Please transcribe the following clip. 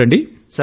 చూడండి